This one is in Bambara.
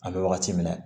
An bɛ wagati min na